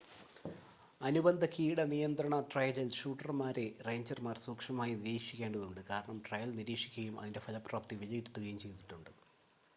അനുബന്ധ കീട നിയന്ത്രണ ട്രയലിൽ ഷൂട്ടർമാരെ റേഞ്ചർമാർ സൂക്ഷ്മമായി നിരീക്ഷിക്കേണ്ടതുണ്ട് കാരണം ട്രയൽ നിരീക്ഷിക്കുകയും അതിൻ്റെ ഫലപ്രാപ്തി വിലയിരുത്തുകയും ചെയ്തിട്ടുണ്ട്